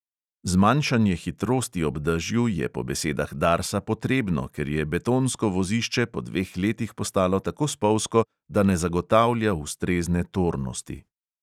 Zmanjšanje hitrosti ob dežju je po besedah darsa potrebno, ker je betonsko vozišče po dveh letih postalo tako spolzko, da ne zagotavlja ustrezne tornosti.